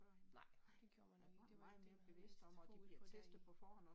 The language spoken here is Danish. Nej, nej det gjorde man nok ikke det var ikke det man havde mest fokus på der i